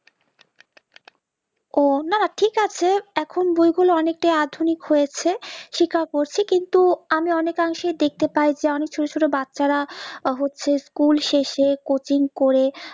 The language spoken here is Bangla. ও না না ঠিক আছে এখন বই গুলো অনিকটাই আধুনিক হয়েছে জাকাত করছি কিন্তু আমি অনিক অংশে দেখতে পাই যে অনিক ছোট ছোট বাচ্চারা হচ্ছে School শেষে coaching করে